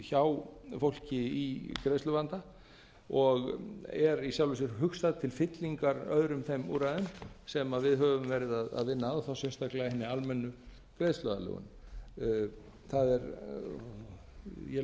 hjá fólki í greiðsluvanda og er í sjálfu sér hugsað til fyllingar öðrum þeir úrræðum sem við höfum verið að vinna að og þá sérstaklega hinni almennu greiðsluaðlögun ég legg